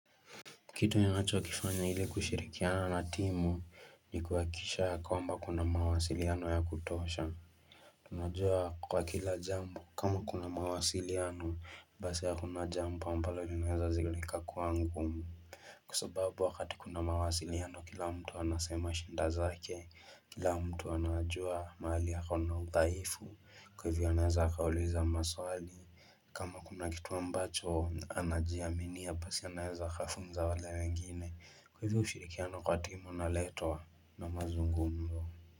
Kitu ninacho kifanya ili kushirikiana na timu ni kuhakikisha ya kwamba kuna mawasiliano ya kutosha Tunajua kwa kila jambo kama kuna mawasiliano basi hakuna jambo ambalo linaweza zilika kua ngumu Kwa sababu wakati kuna mawasiliano kila mtu anasema shinda zake kila mtu anajua mahali akona udhaifu kuhivyo anaweza akauliza maswali kama kuna kitu ambacho anajia minia basi anaeza akafunza wale wengine kwa hivyo ushirikiano kwa timu unaletwa na mazungumzo.